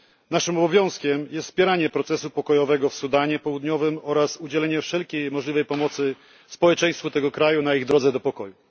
Naszym obowiązkiem jest wspieranie procesu pokojowego w Sudanie Południowym oraz udzielenie wszelkiej możliwej pomocy społeczeństwu tego kraju na ich drodze do pokoju.